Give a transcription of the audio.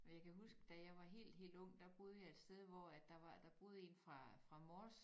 Men jeg kan huske da jeg var helt helt ung der boede jeg et sted hvor at der var der boede en fra fra Mors